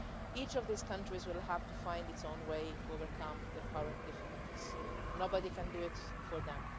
Each of these countries will have to find its own way to overcome their current difficulties. Nobody can do it for